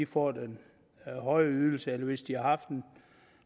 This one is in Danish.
får den høje ydelse og hvis de har haft en